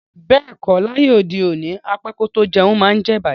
Beeko, laye ode oni, á pẹ kò tó jẹ̀un maá ǹ jẹ̀ ìbàjẹ́.